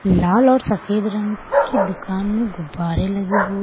लाल और सफेद रंग की दुकान में गुब्बारे लगे हुए --